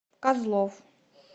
козлов